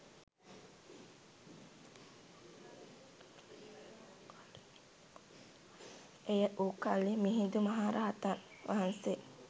එය වූ කලී මිහිඳු මහ රහතන් වහන්සේ